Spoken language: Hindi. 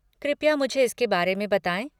कृपया मुझे इसके बारे में बताएँ।